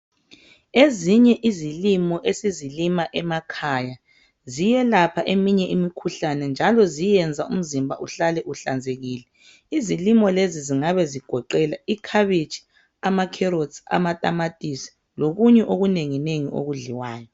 Ezinye izilimo esizilima emakhaya ziyelapha eminye imikhuhlane njalo ziyenza umzimba uhlale uhlanzekile. Izilimo lezi zingabe zigoqela ikhabitshi, ama"carrots",amatamatisi lokunye okunengi nengi okudliwayo.